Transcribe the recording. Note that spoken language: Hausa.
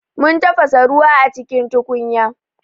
Mun tafasa ruwa a cikin tukunya.